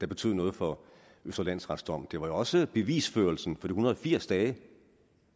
betød noget for østre landsrets dom det var jo også bevisførelsen for en hundrede og firs dage der